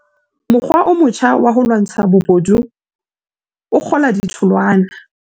Mokgwa o motjha wa ho lwantsha bobodu o kgola ditholwana